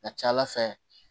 Ka ca ala fɛ